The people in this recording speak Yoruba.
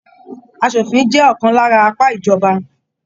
Aṣòfin jẹ ọkan lára apá ìjọba.